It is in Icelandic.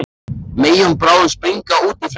Megi hún bráðum springa út í frelsið.